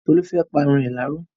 Tolú fẹ́ pa irun rẹ̀ láró.